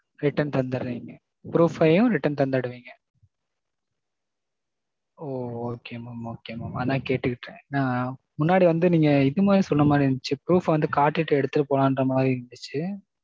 return தந்திர்றேங்க. proof யும் return தந்துடுவீங்க. ஓ okay mam okay mam. அதான் கேட்டுக்கிட்டேன். நான் முன்னாடி வந்து நீங்க இது மாறி சொன்னா மாதிரி இருந்துச்சு. proof வந்து காட்டீட்டு எடுத்துட்டு போலான்னுற மாறி இருந்துச்சு.